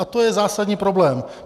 A to je zásadní problém.